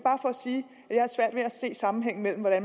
har svært ved at se sammenhængen mellem at